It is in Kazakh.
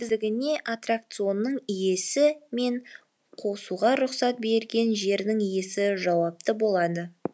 оның қауіпсіздігіне аттракционның иесі мен қосуға рұқсат берген жердің иесі жауапты болады